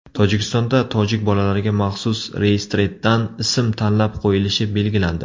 Tojikistonda tojik bolalariga maxsus reyestrdan ism tanlab qo‘yilishi belgilandi.